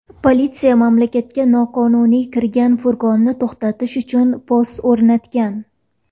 Politsiya mamlakatga noqonuniy kirgan furgonni to‘xtatish uchun post o‘rnatgan.